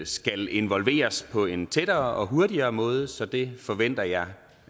skal involveres på en tættere og hurtigere måde så det forventer jeg